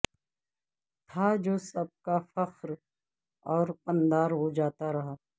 تھا جو سب کا فخر اور پندار وہ جاتا رہا